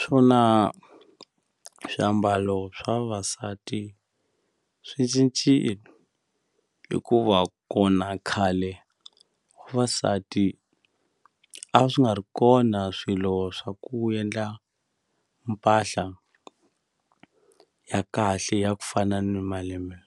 Swona swiambalo swa vavasati swi cincile hikuva kona khale vavasati a swi nga ri kona swilo swa ku endla mpahla ya kahle ya ku fana ni malembe